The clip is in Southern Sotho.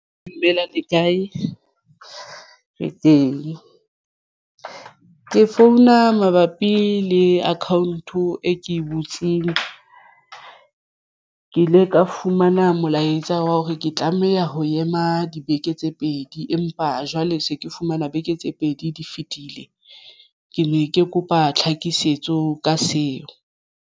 Dumelang le kae re teng? Ke founa mabapi le account-o e ke e butseng ke ile ka ho fumana molaetsa wa hore ke tlameha ho ema dibeke tse pedi empa jwale se ke fumana beke tse pedi di fetile ke ne ke kopa tlhakisetso ka seo.